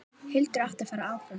Hildur átti að fara áfram!